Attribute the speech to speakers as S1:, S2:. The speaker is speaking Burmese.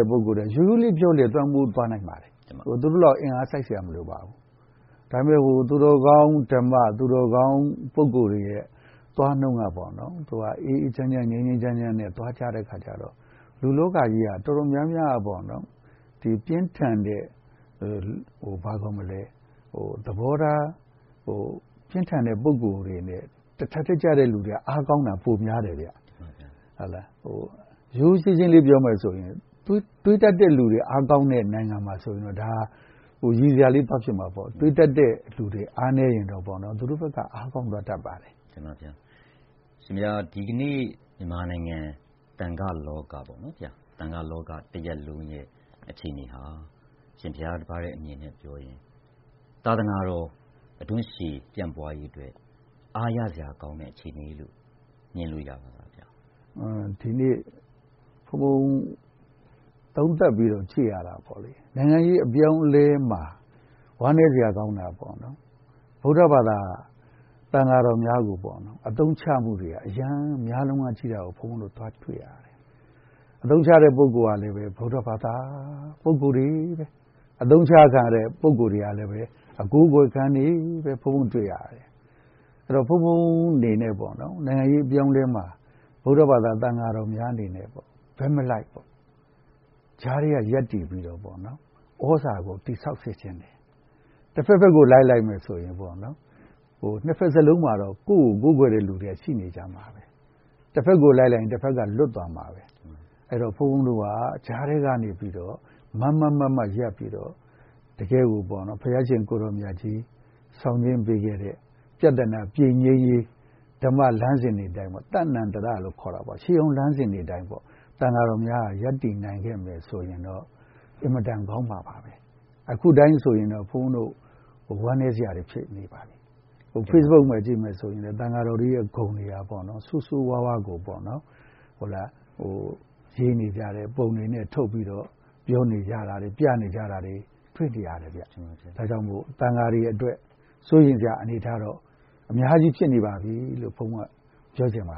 S1: ဲ့ ပုဂ္ဂိုလ်တွေ ရိုးရိုးလေးပြောရင်လည်း လွှမ်းမိုးသွားနိုင်ပါတယ်။ သူတို့လောက် အင်အားစိုက်စရာမလိုပါဘူး။ ဒါပေမယ့် သူတော်ကောင်းဓမ္မ၊ သူတော်ကောင်း ပုဂ္ဂိုလ်တွေရဲ့ သွားနှုန်းကတော့ အေးအေးချမ်းချမ်း ငြိမ်းငြိမ်းချမ်းချမ်းနဲ့ သွားကြတဲ့အခါကျတော့ လူ့လောကကြီးက တော်တော်များများ ပြင်းထန်တဲ့ သဘောထား ပြင်းထန်တဲ့ ပုဂ္ဂိုလ်တွေနဲ့ တထပ်တည်းကျတဲ့လူတွေက အားကောင်းတာ ပိုများတယ်ဗျ။ ရိုးရိုးရှင်းရှင်းလေးပြောမယ်ဆိုရင် တွေးတတ်တဲ့လူတွေ အားကောင်းတဲ့နိုင်ငံမှာဆိုရင်တော့ဒါက ရယ်စရာလေးသွားဖြစ်မှာပေါ့။ တွေးတတ်တဲ့လူတွေ အားနည်းရင်တော့ သူတို့ဘက်က အားကောင်းသွားတတ်ပါတယ်။
S2: တင်ပါ့ဘုရား။ အရှင်ဘုရားဒီကနေ့ မြန်မာနိုင်ငံ သံဃလောကပေါ့နော် သံဃလောကတရပ်လုံးရဲ့ အခြေအနေဟာ အရှင်ဘုရားပြောသွားတဲ့ အမြင်နဲ့ ပြောရင် သာသနာတော် အဓွန့်ရှည်ပြန့်ပွားရေးအတွက် အားရစရာကောင်းတဲ့အခြေအနေလို့ မြင်လို့ရပါသလား ဘုရား။
S1: ဒီနေ့ ဘုန်းဘုန်း သုံးသပ်ပြီးတော့ ကြည့်ရတာပေါ့လေ နိုင်ငံရေးအပြောင်းအလဲမှာ ဝမ်းနည်းစရာကောင်းတာပေါ့နော်။ ဗုဒ္ဓဘာသာ သံဃာတော်များကိုပေါ့နော် အသုံးချမှုတွေက အရမ်းများလွန်းအားကြီးတာကို ဘုန်းဘုန်းတို့သွားတွေ့ရတယ်။ အသုံးချတဲ့ ပုဂ္ဂိုလ်ကလည်း ဗုဒ္ဓဘာသာပုဂ္ဂိုလ်တွေပဲ ။အသုံးချခံရတဲ့ပုဂ္ဂိုလ်တွေကလည်း အကိုးကွယ်ခံတွေကြီးပဲ ဘုန်းဘုန်းတွေ့ရတယ်။ အဲဒီတော့ ဘုန်းဘုန်းအနေနဲ့ပေါ့နော်။ နိုင်ငံရေးအပြောင်းအလဲမှာ ဗုဒ္ဓဘာသာ သံဃာတော်များအနေနဲ့ ဘက်မလိုက်ပေါ့ ကြားထဲကရပ်တည်ပြီးတော့ သြဇာကို တည်ဆောက်စေချင်တယ်။ တဖက်ဖက်ကို လိုက်လိုက်မယ်ဆိုရင် နှစ်ဘက်စလုံးမှာတော့ ကိုယ့်ကို ကိုးကွယ်မယ့်လူတွေကတော့ ရှိနေကြမှာပဲ။ တဖက်ကို လိုက်လိုက်ရင် တဖက်ကတော့ လွတ်သွားမှာပဲ။ အဲဒီတော့ ဘုန်းဘုန်းတို့က ကြားထဲကနေပြီးတော့ မားမားမတ်မတ်ရပ်ပြီးတော့ တကယ့်ကိုပေါ့နော် ဘုရားရှင်ကိုယ်တော်မြတ်ကြီး ဆောင်နှင်းပေးခဲ့တဲ့ ပြဿနာပြေလည်ရေး ဓမ္မလမ်းစဉ်တွေအတိုင်း ပေါ့နော် ရှေးဟောင်းလမ်းစဉ်တွေအတိုင်းပေါ့ သံဃာတော်များက ရပ်တည်နိုင်ခဲ့မယ်ဆိုရင်တော့ အင်မတန်ကောင်းမှာပါပဲ။ အခုအတိုင်းဆိုရင် ဘုန်းဘုန်းတို့ ဝမ်းနည်းစရာတွေ ဖြစ်နေပါတယ်။ Facebook မှာကြည့်မယ်ဆိုရင် သံဃာတော်တွေရဲ့ ဂုဏ်က ဆိုးဆိုးဝါးဝါးကို ရေးနေကြတယ်၊ ပုံတွေနဲ့ ထုတ်ပြီးတော့ ပြောနေကြတယ် ပြနေကြတာတွေ တွေ့နေရတယ်။ ဒါကြောင့်မို့ သံဃာတော်တွေအတွက် စိုးရိမ်ရတဲ့အနေထားတော့ ဖြစ်နေပါပြီလို့ ဘုန်းဘုန်းက ပြောချင်ပါ